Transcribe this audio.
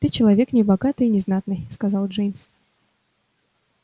ты человек небогатый и незнатный сказал джеймс